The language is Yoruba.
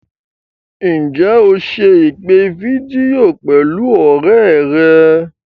Ǹjẹ́ o se ìpè fídíò pẹ̀lú ọ̀rẹ́ rẹ̀?